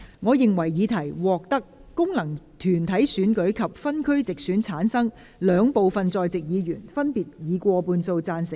我認為議題獲得經由功能團體選舉產生及分區直接選舉產生的兩部分在席議員，分別以過半數贊成。